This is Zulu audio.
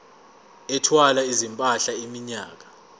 ethwala izimpahla iminyaka